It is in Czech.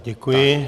Děkuji.